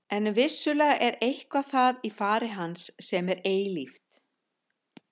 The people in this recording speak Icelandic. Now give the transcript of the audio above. En vissulega er eitthvað það í fari hans sem er eilíft.